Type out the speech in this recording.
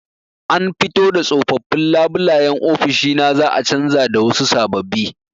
An fito da tsofaffin labulayen ofishi na za'a canja da wasu sababbi.